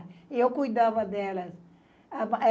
E eu cuidava dela.